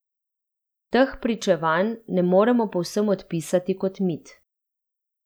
Teh pričevanj ne moremo povsem odpisati kot mit.